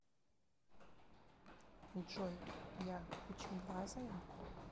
джой я пучеглазая